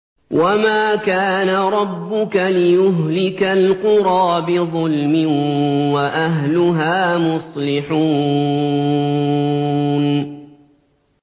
وَمَا كَانَ رَبُّكَ لِيُهْلِكَ الْقُرَىٰ بِظُلْمٍ وَأَهْلُهَا مُصْلِحُونَ